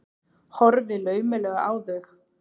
Horfi laumulega á þau.